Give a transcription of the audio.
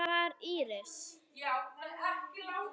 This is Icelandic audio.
Hver var Ísis?